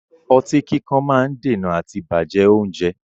Ọtí kíkan má ń dènà àti bàjẹ́ oúnjẹ.